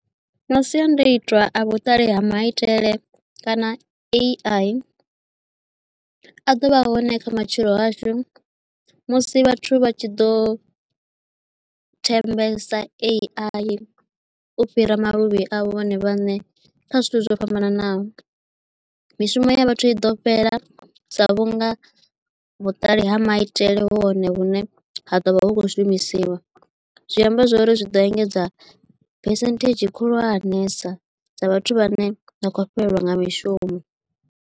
Masiandaitwa a vhuṱali ha maitele kana A_I a ḓovha hone kha matshilo ashu musi vhathu vha tshi ḓo thembesa A_I u fhira maluvhi avho vhone vhaṋe kha zwithu zwo fhambananaho mishumo ya vhathu i ḓo fhela sa vhunga vhuṱali ha maitele hu hone vhune ha ḓovha hu kho shumisiwa zwi amba zwori zwi ḓo engedza phesenthedzhi khulwanesa ya vhathu vha ne vha khou fhelelwa nga mishumo.